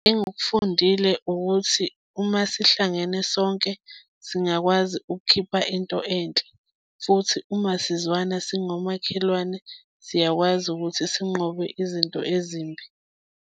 Engikufundile ukuthi, uma sihlangene sonke singakwazi ukukhipha into enhle, futhi uma sizwana singomakhelwane, siyakwazi ukuthi sinqobe izinto ezimbi.